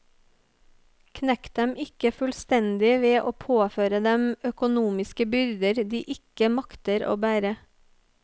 Knekk dem ikke fullstendig ved å påføre dem økonomiske byrder de ikke makter å bære.